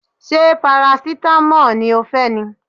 Ṣé parasitamọ́ọ̀ ni ó fẹ́ ni?